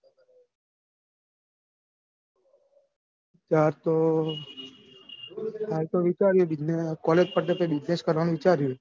હાલ તો હાલ તો વિચાર્યું હે college પત્યા પછી business કરવાનું વિચાર્યું હે.